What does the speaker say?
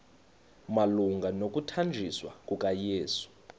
malunga nokuthanjiswa kukayesu